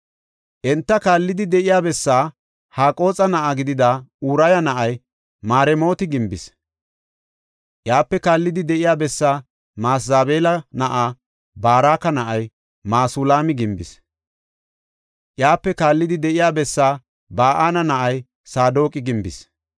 Enta kaallidi de7iya bessaa Haqooxa na7a gidida Uraya na7ay Maremooti gimbis. Iyape kaallidi de7iya bessaa Masezabeela na7a Baraka na7ay Masulaami gimbis. Iyape kaallidi de7iya bessaa Ba7ana na7ay Saadoqi gimbis.